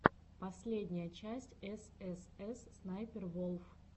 последняя часть эс эс эс снайпер волф